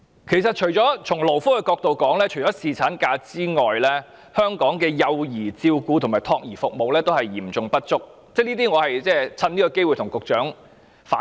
其實，如果從勞工福利角度來看，除了侍產假外，香港的幼兒照顧和託兒服務也是嚴重不足的，我想藉今天的機會向局長反映。